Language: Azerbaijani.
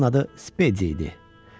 Onun adı Spedi idi.